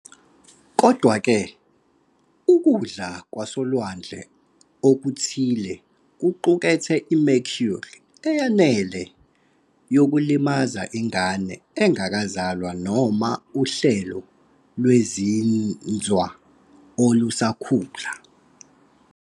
Kodwa-ke, ukudla kwasolwandle okuthile kuqukethe i-mercury eyanele yokulimaza ingane engakazalwa noma uhlelo lwezinzwa olusakhula.